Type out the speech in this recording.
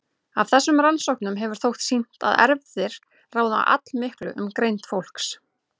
Af þessum rannsóknum hefur þótt sýnt að erfðir ráða allmiklu um greind fólks.